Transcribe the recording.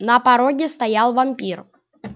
на пороге стоял вампир